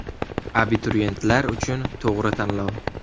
Abituriyentlar uchun to‘g‘ri tanlov!.